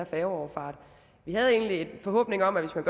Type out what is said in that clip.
færgefart vi havde egentlig en forhåbning om at hvis man